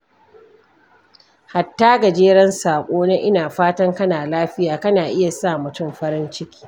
Hatta gajeren saƙo na "Ina fatan kana lafiya" kan iya sa mutum farin ciki.